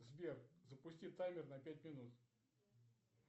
сбер запусти таймер на пять минут